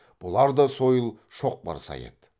бұлар да сойыл шоқпар сай еді